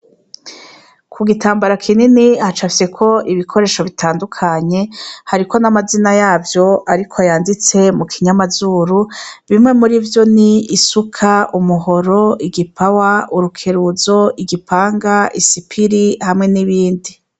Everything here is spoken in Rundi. Ku gitambara kinini hacafyeko ibikoresho bitandukanye, hariko n'amazina yavyo ariko yanditse mu kinyamazuru, imwe muri ivyo ni isuka, umuhoro, igipawa, urukeruzo, igipanga, isipiri hamwe n'ibindi.